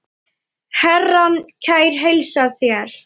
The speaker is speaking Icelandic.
Herrann kær heilsar þér.